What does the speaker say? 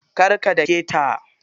Kar ka daketa.